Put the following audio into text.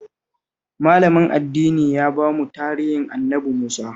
Malamin addinin ya ba mu tarihin Annabi Musa